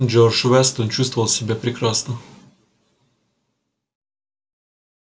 джордж вестон чувствовал себя прекрасно